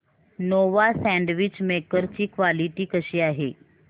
Nova sandwich maker ची quality कशी आहे